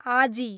आजी